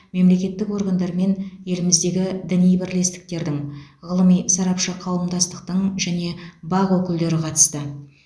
мемлекеттік органдар мен еліміздегі діни бірлестіктердің ғылыми сарапшы қауымдастықтың және бақ өкілдері қатысты